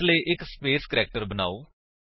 ਇਸ ਲਈ ਇੱਕ ਸਪੇਸ ਕਰੈਕਟਰ ਬਨਾਓ